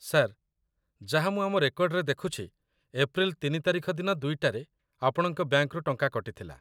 Sir, ଯାହା ମୁଁ ଆମ ରେକର୍ଡ଼ରେ ଦେଖୁଛି, ଏପ୍ରିଲ୍‌ ୩ ତାରିଖ ଦିନ ୨ଟାରେ ଆପଣଙ୍କ ବ୍ୟାଙ୍କରୁ ଟଙ୍କା କଟିଥିଲା ।